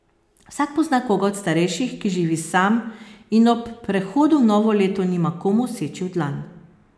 Vsak pozna koga od starejših, ki živi sam in ob prehodu v novo leto nima komu seči v dlan.